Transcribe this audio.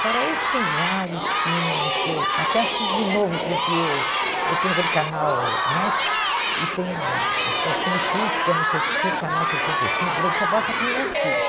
Fora isso, tem vários filmes que eu até assisto de novo, porque eu tenho aquele canal net e tem ah acho que é o Cine Cult, que é no sessen canal sessenta e cinco, por aí que só passa filme antigo.